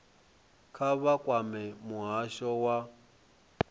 kha vha kwame muhasho wa